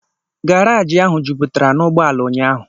Garajị ahụ juputara n'ụgbọala unyaahụ